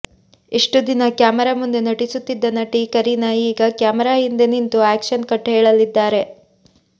ಇಷ್ಟು ದಿನ ಕ್ಯಾಮರಾ ಮುಂದೆ ನಟಿಸುತ್ತಿದ್ದ ನಟಿ ಕರೀನಾ ಈಗ ಕ್ಯಾಮೆರಾ ಹಿಂದೆ ನಿಂತು ಆಕ್ಷನ್ ಕಟ್ ಹೇಳಲಿದ್ದಾರೆ